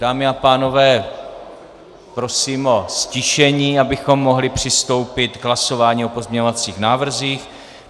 Dámy a pánové, prosím o ztišení, abychom mohli přistoupit k hlasování o pozměňovacích návrzích.